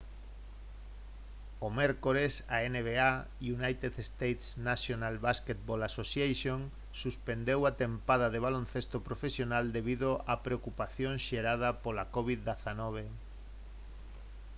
o mércores a nba united states' national basketball association suspendeu a tempada de baloncesto profesional debido á preocupación xerada pola covid-19